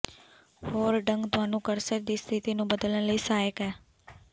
ਹੋਰ ਢੰਗ ਤੁਹਾਨੂੰ ਕਰਸਰ ਦੀ ਸਥਿਤੀ ਨੂੰ ਬਦਲਣ ਲਈ ਸਹਾਇਕ ਹੈ